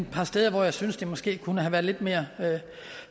par steder hvor jeg synes det måske kunne have været lidt mere